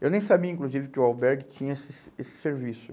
Eu nem sabia, inclusive, que o albergue tinha esse ser esse serviço.